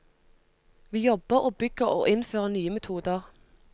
Vi jobber og bygger og innfører nye metoder.